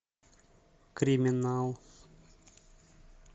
криминал